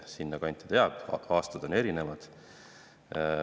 Sinna kanti see jääb, aga loomulikult on aastad erinevad.